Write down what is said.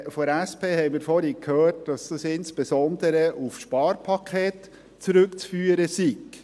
Von der SP haben wir vorhin gehört, dass dies insbesondere auf Sparpakete zurückzuführen sei.